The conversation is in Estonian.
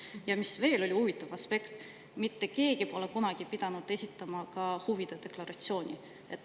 Ja veel huvitav aspekt: mitte keegi pole kunagi pidanud esitama huvide deklaratsiooni.